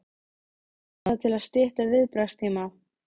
Hrund: Var það til að stytta viðbragðstíma?